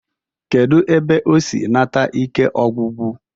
Kedu ebe o si nata ike ọgwụgwụ?